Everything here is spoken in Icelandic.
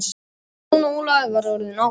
Jón Ólafur var orðinn ákafur.